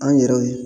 An yɛrɛw ye